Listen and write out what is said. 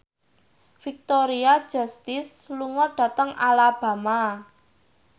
Victoria Justice lunga dhateng Alabama